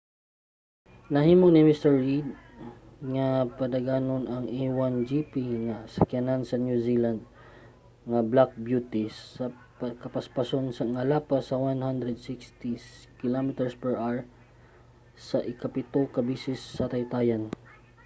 nahimo ni mr. reid nga padaganon ang a1gp nga sakyanan sa new zealand nga black beauty sa kapaspason nga lapas sa 160 km/h sa ikapito ka beses sa taytayan